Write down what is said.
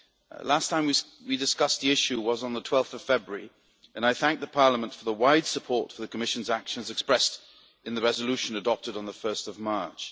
The last time we discussed the issue was on 12 February, and I thank the Parliament for the wide support for the Commission's actions expressed in the resolution adopted on 1 March.